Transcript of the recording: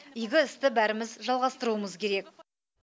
игі істі бәріміз жалғастыруымыз керек